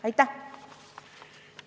Aitäh!